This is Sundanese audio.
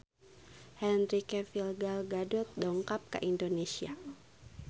Henry Cavill Gal Gadot dongkap ka Indonesia